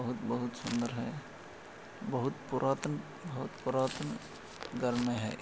बहुत -बहुत सुंदर है बहुत पूरा तन- बहुत पूरा तन गर्म है ।